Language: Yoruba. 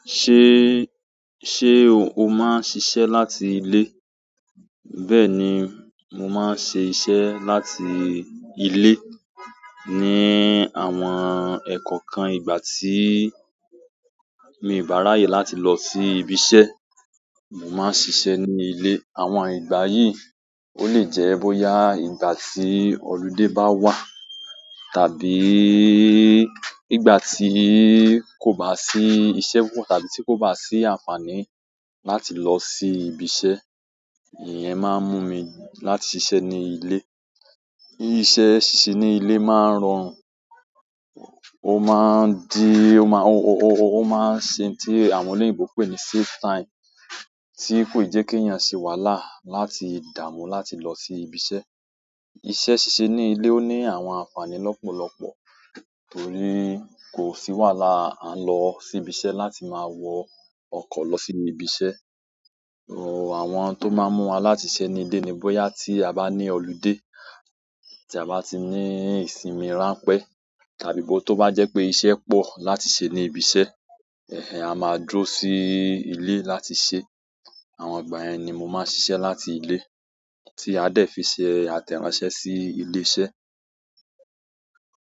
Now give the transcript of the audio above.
Ṣé, ṣé o máa ń ṣiṣẹ́ láti ilé? Bẹ́ẹ̀ni, mo maa n se iṣẹ́ láti ile ni àwọn ẹ̀kọ̀okan ìgbà tíì mi i bá ráyè láti lọ sí ibi iṣẹ́, mo máa ń ṣiṣẹ́ ní ilé. Àwọn ìgbà yìí, ó lè jẹ́ bóyá ìgbà tí holiday bá wà, tàbí ìgbà tí kò bá sí iṣẹ́ púpọ̀ tàbí tí kò bá sí àǹfààní láti lọ sí ibi iṣẹ́, ìyẹn máa ń mú mi láti ṣiṣẹ́ ní ilé. Iṣẹ́ ṣíṣe ní ilé máa ń rọrùn, ó máa ń di, ó má-ó má-ó máa ń ṣe n tí àwọn oloyinbò pè ní "save time" tí kò i jẹ́ kí èèyàn ṣe wàhálà láti dààmú láti lọ sí ibi iṣẹ́. Iṣẹ́ ṣíṣe ní ilé ó ní àwọn àǹfààní lọ́pọ̀lọpọ̀, torí kò sí wàhálà à ń lọ sí ibi iṣẹ́ láti máa wọ ọkọ̀ lọ sínú ibi iṣẹ́. O àwọn tó máa ń mú wa láti ṣiṣẹ́ ní ilé ni bóyá tí a bá ní holiday, tí a bá ti ní ìsinmi ránpẹ́, tàbí bó tí ó bá jẹ́ pé iṣẹ́ pọ̀ láti ṣe ní ibi iṣẹ́, ẹh ẹh a máa dúró sí ilé láti ṣe. Àwọn ìgbà yẹn ni mo máa ń ṣiṣẹ́ láti ilé tí a dẹ̀ fi ṣe àtẹ̀ránsẹ́ sí ilé iṣẹ́.